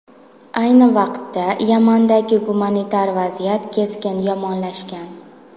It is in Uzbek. Ayni vaqtda, Yamandagi gumanitar vaziyat keskin yomonlashgan.